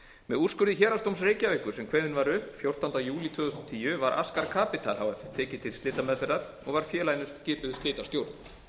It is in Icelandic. með úrskurði héraðsdóms reykjavíkur sem var kveðinn upp fjórtánda júlí tvö þúsund og tíu var askar capital h f tekið til slitameðferðar og var félaginu skipuð slitastjórn